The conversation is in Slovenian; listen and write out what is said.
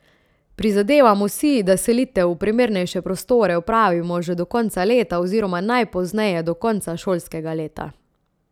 Prizadevamo si, da selitev v primernejše prostore opravimo že do konca leta oziroma najpozneje do konca šolskega leta.